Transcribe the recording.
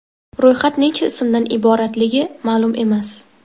Ro‘yxat necha ismdan iboratligi ma’lum emas.